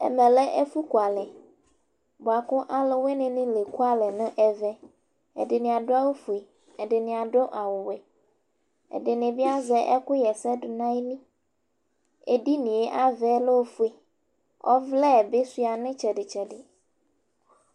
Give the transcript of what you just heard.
Ɛmɛ lɛ ɛfʋ kualɛ, bʋa kʋ alʋwɩnɩ nɩ la ekualɛ nʋ ɛvɛƐdɩnɩ adʋ awʋ fue ɛdɩnɩ adʋ awʋ wɛ, ɛdɩnɩ bɩ azɛ ɛkʋ ɣa ɛsɛdʋnayiliEdinie ava yɛ lɛ ofue, ɔvlɛ bɩ sʋɩa nʋ ɩtsɛdɩtsɛdɩ